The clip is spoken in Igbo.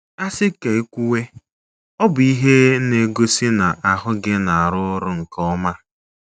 A sị ka e kwuwe, ọ bụ ihe na-egosi na ahụ gị na-arụ ọrụ nke ọma.